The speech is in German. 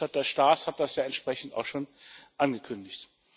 Herr Berichterstatter Staes hat das ja entsprechend auch schon angekündigt.